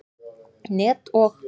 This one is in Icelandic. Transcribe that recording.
net og.